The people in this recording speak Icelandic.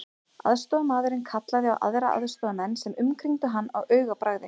Aðstoðarmaðurinn kallaði á aðra aðstoðarmenn sem umkringdu hann á augabragði.